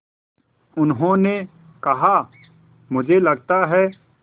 उन्होंने कहा मुझे लगता है